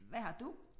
Hvad har du?